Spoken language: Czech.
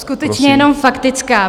Skutečně jenom faktická.